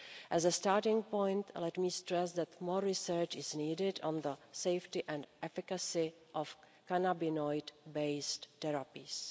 As a starting point, let me stress that more research is needed on the safety and efficacy of cannabinoid-based therapies.